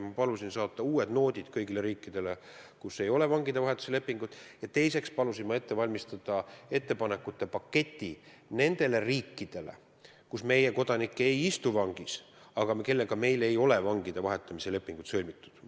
Ma palusin saata uued noodid kõigile riikidele, kellega meil ei ole vangide vahetamise lepingut, ja teiseks palusin ette valmistada ettepanekute paketi ka nendele riikidele, kus meie kodanik ei istu vangis, aga kellega meil ei ole vangide vahetamise lepingut sõlmitud.